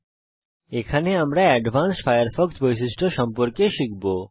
এই টিউটোরিয়ালে আমরা অ্যাডভান্সড ফায়ারফক্স বৈশিষ্ট্য সম্পর্কে শিখব